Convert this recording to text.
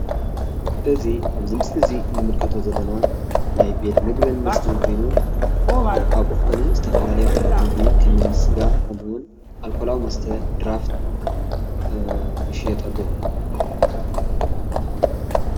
እዚ ኣብዚ ምስሊ እዙይ እንምልከቶ ዘለና ናይ ቤት ምግቢን መስተን ኮይኑ ኣብኡ ካዓኒ ዝተፈላለዩ ዓይነት ምግቢ ከም እኒ ስጋ፣ ከሙኡ እውን ኣልኮላዊ መስተ ድራፍት ይሽየጡ ኣለው።